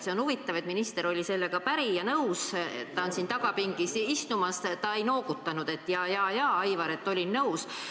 See on huvitav, et minister oli sellega päri ja nõus, ta istub siin tagapingis, ta ei noogutanud, et jaa-jaa, Aivar, olin nõus.